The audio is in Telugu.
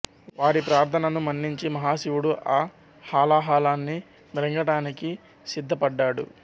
వారి ప్రార్థనను మన్నించి మహాశివుడు ఆ హాలాహలాన్ని మ్రింగటానికి సిద్ధ పడ్డాడు